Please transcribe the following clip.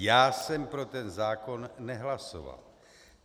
Já jsem pro ten zákon nehlasoval.